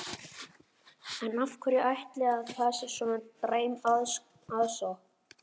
En af hverju ætli að það sé svona dræm aðsókn?